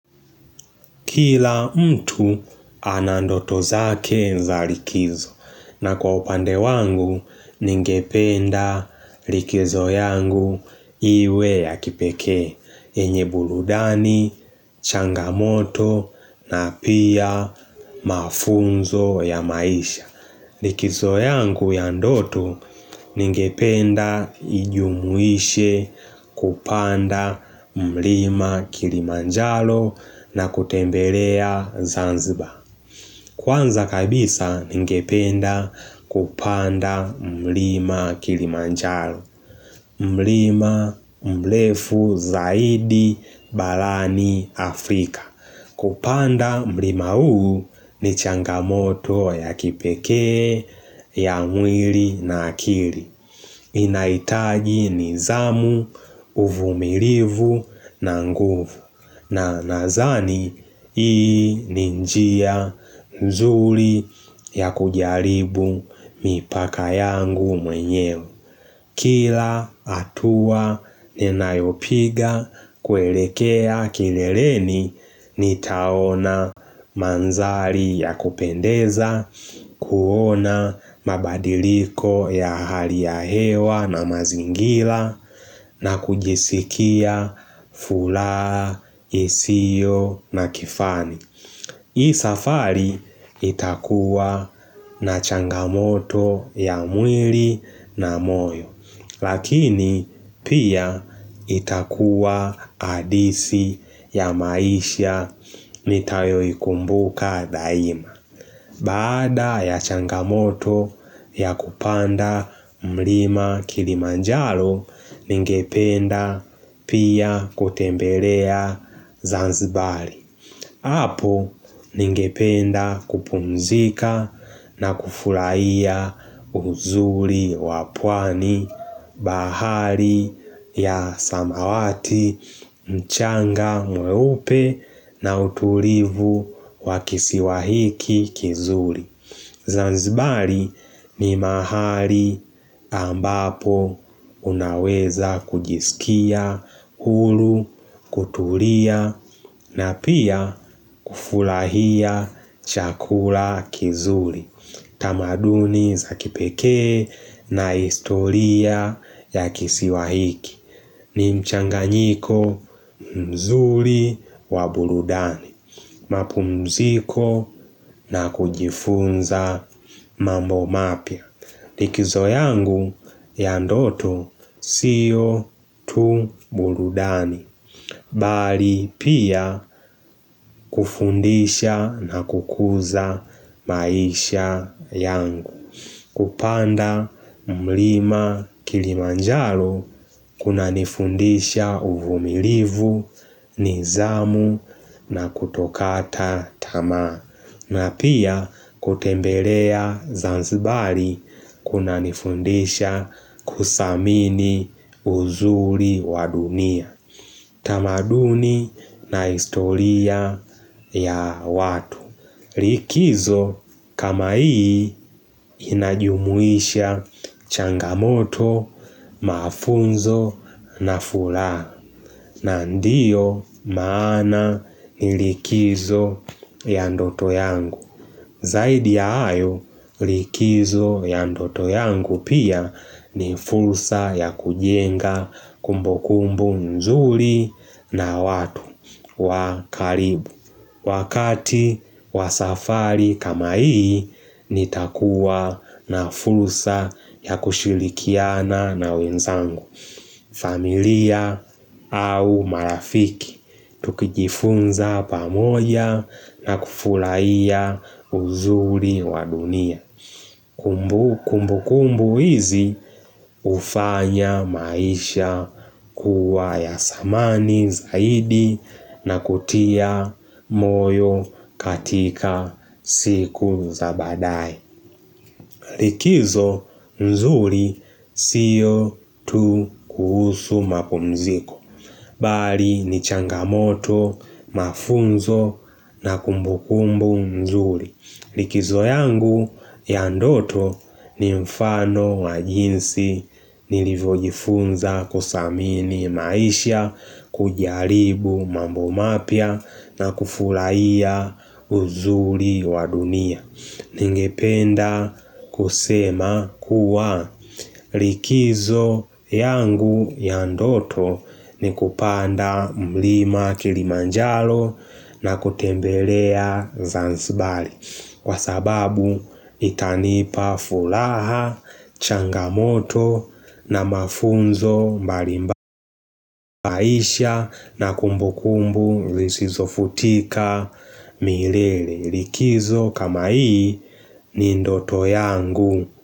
Kila mtu anandoto zake za likizo na kwa upande wangu ningependa likizo yangu iwe ya kipekee yenye burudani, changamoto na pia mafunzo ya maisha. Likizo yangu ya ndoto ningependa ijumuishe kupanda mlima kilimanjaro na kutembelea Zanzibar. Kwanza kabisa ningependa kupanda mlima kilimanjalo. Mlima mlefu zaidi barani Afrika. Kupanda mlima huu ni changamoto ya kipekee ya mwili na akili. Inahitaji nithamu, uvumilivu na nguvu. Na nadhani hii ni njia nzuri ya kujaribu mipaka yangu mwenyewe. Kila hatua ninayopiga kuelekea kileleni nitaona manzari ya kupendeza, kuona mabadiliko ya hali ya hewa na mazingira. Na kujisikia furaha isiyo na kifani. Hii safari itakuwa na changamoto ya mwili na moyo, lakini pia itakuwa hadisi ya maisha nitayo ikumbuka daima. Baada ya changamoto ya kupanda mlima kilimanjaro, ningependa pia kutembelea Zanzibar. Hapo ningependa kupumzika na kufurahia uzuri wa pwani. Bahari ya samawati mchanga mweupe na utulivu wakisiwa hiki kizuri. Zanzibar ni mahali ambapo unaweza kujisikia, huru, kutulia na pia kufurahia chakula kizuri. Tamaduni za kipekee na historia ya kisiwa hiki. Ni mchanganyiko mzuri wa burudani. Mapumziko na kujifunza mambo mapya. Likizo yangu ya ndoto siyo tu burudani. Bali pia kufundisha na kukuza maisha yangu. Kupanda mlima kilimanjaro kuna nifundisha uvumilivu, nithamu na kutokata tamaa. Na pia kutembelea Zanzibar kuna nifundisha kuthamini uzuri wa dunia. Tamaduni na historia ya watu. Likizo kama hii inajumuisha changamoto, mafunzo na furaha. Na ndiyo maana ni likizo ya ndoto yangu. Zaidi ya hayo likizo ya ndoto yangu pia ni fursa ya kujenga kumbukumbu nzuri na watu wakaribu. Wakati wa safari kama hii, nitakuwa na fursa ya kushirikiana na wenzangu. Familia au marafiki, tukijifunza pamoja na kufurahia uzuri wa dunia kumbukumbu hizi hufanya maisha kuwa ya thamani zaidi na kutia moyo katika siku za baadae. Likizo nzuri siyo tu kuhusu mapumziko. Bali ni changamoto, mafunzo na kumbu kumbu mzuri. Likizo yangu ya ndoto ni mfano wa jinsi nilivyojifunza kuthamini maisha kujaribu mambo mapya na kufurahia uzuri wa dunia. Ningependa kusema kuwa likizo yangu ya ndoto ni kupanda mlima kilimanjaro na kutembelea Zanzibar, kwa sababu itanipa furaha, changamoto na mafunzo maisha na kumbukumbu zisizo futika milele likizo kama hii ni ndoto yangu.